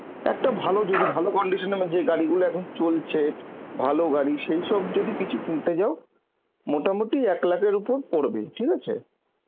একটা ভালো যদি ভ=ভালো কন্দিতীয়ন এর যে গাড়ি গুলো এখন চলছে ভালো গাড়ি সেইসব যদি কিছু এখন কিনতে যাও মোটামুটি এক lakh এর উপর পরবেই, ঠিক আছে